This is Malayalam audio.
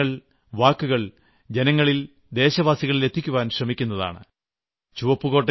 ഞാൻ നിങ്ങളുടെ കാര്യങ്ങൾ വാക്കുകൾ ജനങ്ങളിൽ ദേശവാസികളിൽ എത്തിക്കുവാൻ ശ്രമിക്കുന്നതാണ്